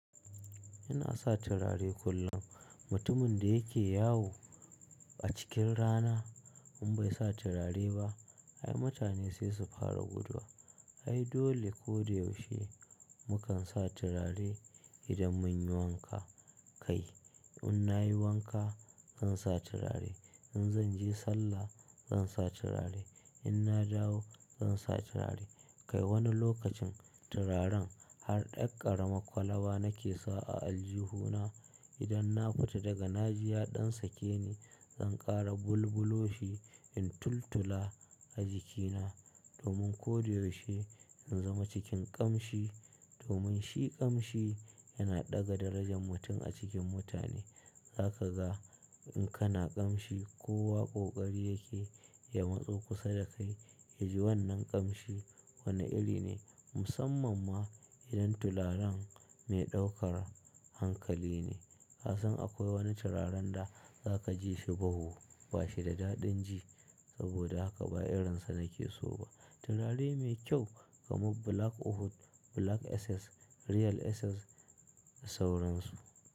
Yana sa turare kullum. Mutumin da yake yawo a cikin rana in bai sa turare ba, ai mutane sai su fara guduwa. Ai dole koyaushe mukan sa turare idan mun yi wanka. Kai in nayi wanka zan sa turare, in zan je sallah zan sa turare, in na dawo zan sa turare. Kai wani lokacin turaren har ɗan ƙarama kwalaba nake sa a aljihu na. Idan na fita daga na ji ya ɗan sake ni, zan ƙara bulbuloshi in tultula a jikina domin koyaushe in zama cikin ƙamshi. Domin shi ƙamshi yana ɗaga darajar mutum a cikin mutane. Za ka ga in kana ƙamshi kowa ƙoƙari yake ya matso kusa da kai yaji wannan ƙamshi wane iri ne. Musamman ma idan turaren mai ɗaukar hankali ne. Ka san akwai wani turaren da za ka ji shi bau bashi da daɗin ji saboda haka ba irin sa nake so ba. Turare mai kyau kamar Black Oat, Black Essence, Real Essence da sauran su.